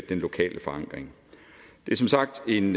den lokale forankring det er som sagt en